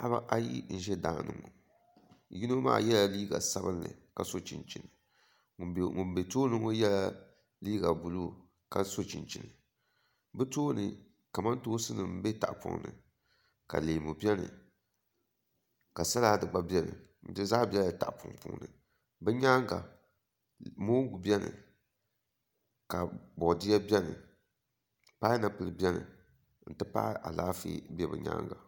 Paɣaba ayi n ʒɛ daani ŋo yino maa yɛla liiga sabinli ka so chinchini ŋun bɛ tooni ŋo nyɛla liiga buluu ka so chinchini bi tooni kamantoosi nim bɛ tahapoŋ ni ka leemu biɛni ka salad gba biɛni di zaa biɛla tahapoŋ puuni bi nyaanga mongu biɛno ka boodiyɛ biɛni painapuli biɛni n ti pahi Alaafee bɛ bi nyaanga